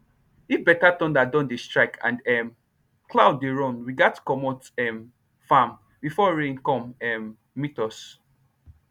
if better thunder don dey strike and um cloud dey run we gat commot um farm before rain come um meet us